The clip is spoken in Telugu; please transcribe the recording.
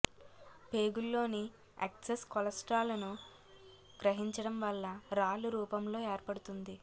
పేగుల్లోన్ని ఎక్సెస్ కొలెస్ట్రాల్ ను గ్రహించడం వల్ల రాళ్ళు రూపంలో ఏర్పడుతుంది